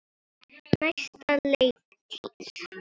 Næsta leiktíð?